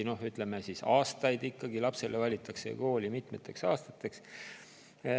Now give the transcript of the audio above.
Ütleme, lapsele valitakse kool mitmeteks aastateks.